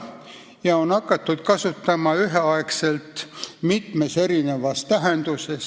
Seda on hakatud kasutama üheaegselt mitmes erinevas tähenduses.